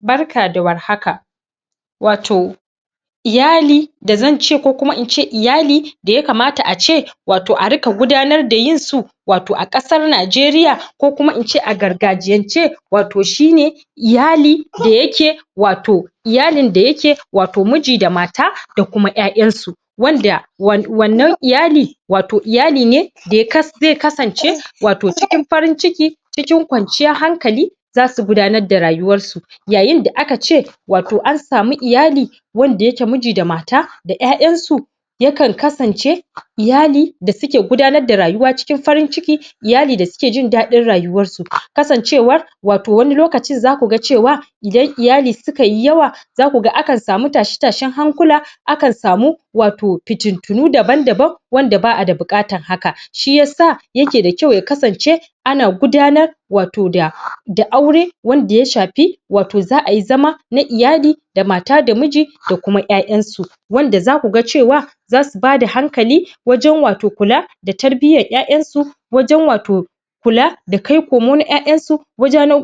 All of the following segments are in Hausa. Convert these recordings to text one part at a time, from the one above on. Barka da warhaka wato Iyali da zan ce ko kuma in ce iyali da ya kamata ace wato a ringa gabatar da yinsu wato a kasar Najeriya ko kuma in ce a gargajiyance wato shine iyali da yake watau iyalin da yake watau miji da mata da kuma ''ya''yansu wanda wannan iyali, watau iyaline ne wanda zai kasance wato cikin farin ciki cikin kwanciyar hankali za su gudanar da rayuwarsu yayin da aka ce wato an samu iyali wanda yake miji da mata da 'ya'yansu ya kan kasance iyali da suke gudanar da rayuwa cikin farin ciki iyali da suek jin dadin rayuwarsu kasancewar wato wani lokacin zaku ga cewa idan iyali sukai yawa za kuga ana samun tashe tashen hankula akan samu wato fitintinu daban daban wanda ba'a da bukatar haka shi yasa yake da kyau ya kasance ana gudanar wato da aure wanda ya shafi wato za ayi zma na iyali da mata da miji da kuma 'ya'yansu wanda za ku ga cewa za su bada hankali wajen wato kula da tarbiyyar 'ya'yansu wajen wato kula da kai kawo na 'ya'yansu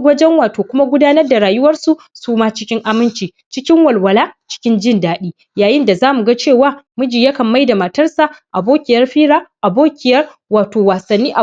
wajen kuma gudanar da rayuwar su suma cikin aminci cikin walwala cikin jin dadi yayin da zamu ga cewa miji ya kan maida matarsa abokiyar fira, abokiyar wasannni wato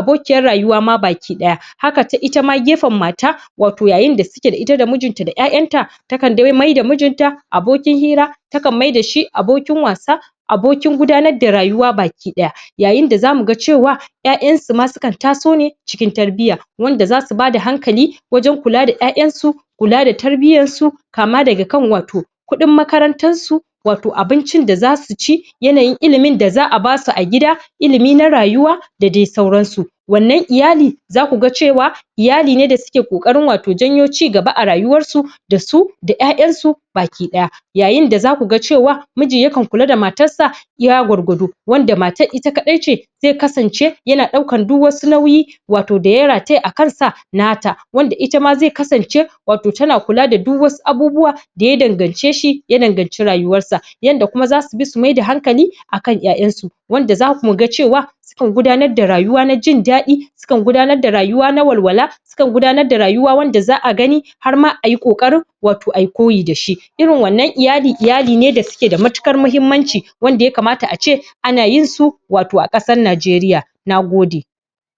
abokiya haka ita ma gefen matar wato yayin da take tare da mijinta da 'ya'yanta takan maida mijinta abokin hira takan maida shi abokin wasa abokin gudanar da rayuwa baki daya yayin da za muga cewa 'ya'yansu ma su kan taso ne cikin tarbiyya wanda za su bada hankali wajen kula da 'ya'yansu kula da tarbiyyar su kama daga kan wato kudin makarantar su wato abincin da za su ci yanayin ilimin da za a basu a gida ilimi na rayuwa da dai sauransu wannan iyali za kuga cewa iyali ne da suke kokarin janyo cigaba a rayuwar su da su da 'ya'yansu baki daya yayin da za kuga cewa miji ya kan kula da matarsa iya gwargwado wanda matar ita kadaice zai kasance yana daukar duk wasu nauyi wato da ya rataya a kansa na ta wanda ita zai kasance ta na kula da duk wasu abubuwa da ya dangance shi ya nazarci rayuwarsa yadda kuma zasu maida hankali akan 'ya'yansu wanda za mu ga cewa akan gudanar da rayuwa na jin dadi su kan gudanar da rayuwa ta walwala akan gudanar da rayuwa wadda za a gani har ma ayi kokarin wato ayi koyi da shi irin wannan iyali, iyali ne da suke da matukar muhimmanci wanda ya kamata ace ana yin su wato a kasar Nijeriya na gode